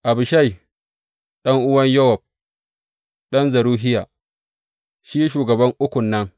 Abishai, ɗan’uwan Yowab, ɗan Zeruhiya shi shugaban Ukun nan.